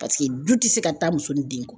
Paseke du tɛ se ka taa muso ni den kɔ.